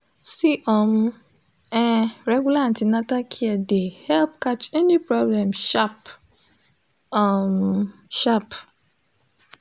see um ehh regular an ten atal care de help catch any problem sharp um sharp